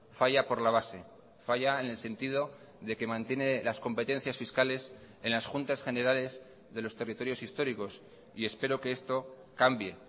falla por la base falla en el sentido de que mantiene las competencias fiscales en las juntas generales de los territorios históricos y espero que esto cambie